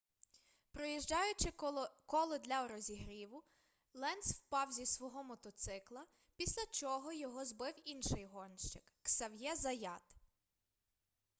проїжджаючи коло для розігріву ленц впав зі свого мотоцикла після чого його збив інший гонщик ксав'є заят